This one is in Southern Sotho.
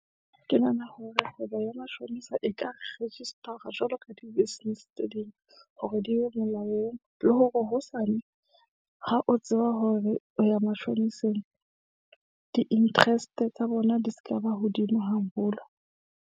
Ke nahana hore kgwebo ya mashonisa e ka register jwalo ka di-business tse ding, hore di be molaong. Le hore hosane ha o tseba hore o ya mashoniseng, di-interest tsa bona di sekaba hodimo haholo.